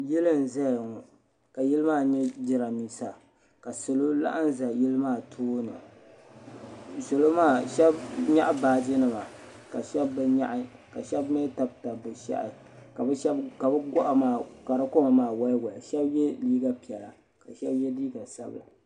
Yili n zaya ŋo ka yili maa nye jirambisa ka salo laɣim n za yili maa tooni salo maa sheba nyaɣi baaji nima ka sheba bi nyaɣi ka sheba mee tabi tabi bɛ shehi ka bɛ goɣa maa ka di koma maa woli woli ka so ye liiga piɛla ka sheba ye liiga sabla.